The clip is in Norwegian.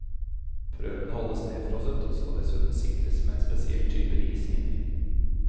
Prøvene holdes nedfrosset, og skal dessuten sikres med en spesiell type is inni.